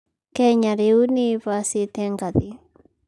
Kenya rĩu nĩĩhaicĩte ngathĩ